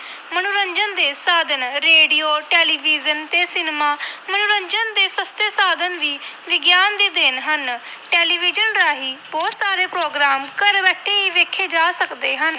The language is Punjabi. ਮਨੋਰੰਜਨ ਦੇ ਸਾਧਨ ਰੇਡੀਓ ਟੈਲੀਵਜ਼ਨ ਤੇ ਸਿਨੇਮਾ ਮਨੋਰੰਜਨ ਦੇ ਸਸਤੇ ਸਾਧਨ ਵੀ ਵਿਗਿਆਨ ਦੀ ਦੇਣ ਹਨ, ਟੈਲੀਵਿਜ਼ਨ ਰਾਹੀਂ ਬਹੁਤ ਸਾਰੇ program ਘਰ ਬੈਠੇ ਹੀ ਵੇਖੇ ਜਾ ਸਕਦੇ ਹਨ।